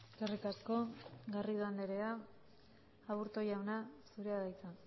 eskerrik asko garrido andrea aburto jauna zurea da hitza